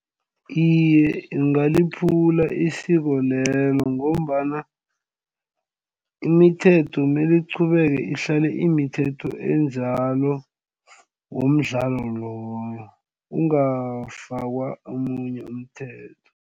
Iye, ingaliphula isiko lelo ngombana imithetho mele iqhubethe ihlale imithetho enjalo womdlalo loyo ungafakwa omunye umthetho.